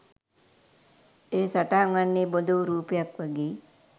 එය සටහන් වන්නේ බොඳවූ රූපයක් වගේ.